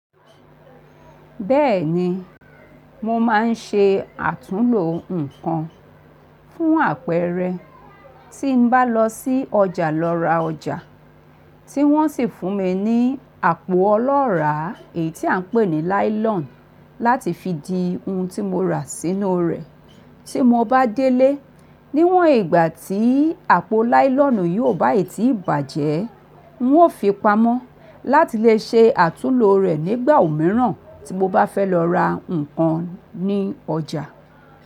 Bẹ́ẹ̀ni, mo máa ń ṣe àtúnlo nǹkan fún àpẹẹrẹ tí n bá lọ sí ọjà lọ ra ọjà, tí wọ́n sì fún mi ní àpò ọlọ́ràá èyí tí à ń pè ní láílọ̀n láti fi di ohun tí mo rà sínú rẹ̀. Tí mo bá délé, níwọ̀n ìgbà tí àpò láílọ̀nù yii ò bá è tí ì bàjẹ́, ń ó fi pamọ́ láti lè ṣe àtúnlo rẹ̀ nígbà òmíràn tí mo bá fẹ́ lọ ra nǹkan ní ọjà.